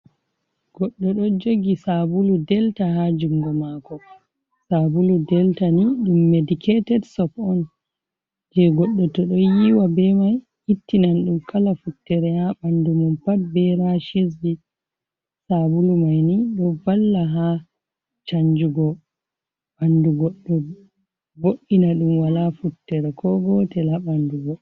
Goɗɗo do jogi sabulu delta ha jungo mako, sabulu delta ni ɗum mediketed sop on, je goɗɗo to ɗo yiwa be mai ittinan ɗum kala futtere ha ɓandu mum pat be ra shesbi sabulu maini do valla ha chanjugo bandu goddo bo’ina dum wala futter ko gotel a bandugo